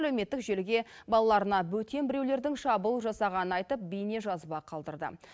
әлеуметтік желіге балаларына бөтен біреулердің шабуыл жасағанын айтып бейнежазба қалдырды